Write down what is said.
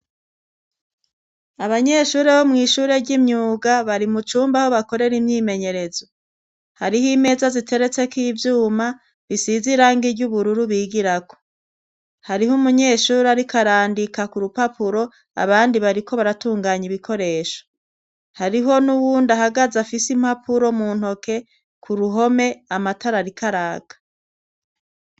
abanyeshuri bo mw' ishure ry'imyuga bari mu cumba ho bakorere imyimenyerezo hariho imeza ziteretseko ivyuma bisizirangi iry'ubururu bigira ko hariho umunyeshuri arikarandika ku rupapuro abandi bariko baratunganya ibikoresho hariho n'uwunda hagaze afise impapuro mu ntoke ku ruhome amatara arikaraka